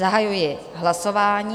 Zahajuji hlasování.